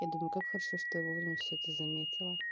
я думаю как хорошо что я во время все это заметила